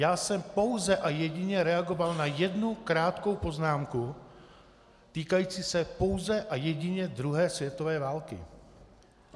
Já jsem pouze a jedině reagoval na jednu krátkou poznámku týkající se pouze a jedině druhé světové války.